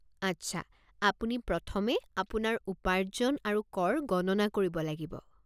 আচ্ছা, আপুনি প্ৰথমে আপোনাৰ উপাৰ্জন আৰু কৰ গণনা কৰিব লাগিব।